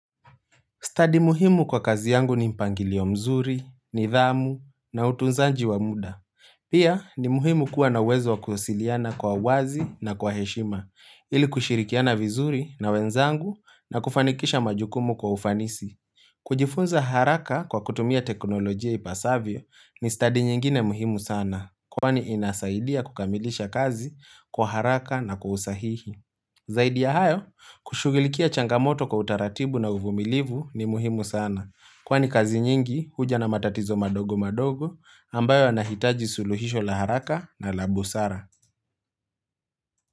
Stadi muhimu kwa kazi yangu ni mpangilio mzuri, nidhamu, na utunzaji wa muda. Pia ni muhimu kuwa na uwezo kuhusiliana kwa uwazi na kwa heshima, ili kushirikiana vizuri na wenzangu na kufanikisha majukumu kwa ufanisi. Kujifunza haraka kwa kutumia teknolojia ipasavyo ni study nyingine muhimu sana, kwani inasaidia kukamilisha kazi kwa haraka na kwa usahihi. Zaidi ya hayo, kushugilikia changamoto kwa utaratibu na uvumilivu ni muhimu sana, kwani kazi nyingi huja na matatizo madogo madogo ambayo yanahitaji suluhisho la haraka na la busara.